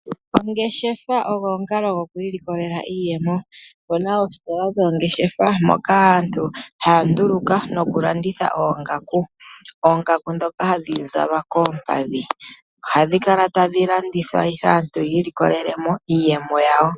Ongeshefa ogwo omukalo gokwiilikolela iiyemo. Opuna oositola dhoongeshefa moka aantu haya nduluka noku landitha oongaku, oongaku ndhoka hadhi zalwa koompadhi. Ohadhi kala tadhi landithwa ihe aantu yi ilikolele mo iiyemo yawo.